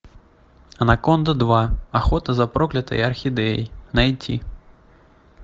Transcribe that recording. анаконда два охота за проклятой орхидеей найди